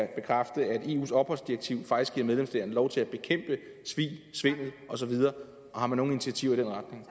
bekræfte at eus opholdsdirektiv faktisk giver medlemsstaterne lov til at bekæmpe svig svindel og så videre har man nogen initiativer i